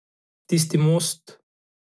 Tisti most ...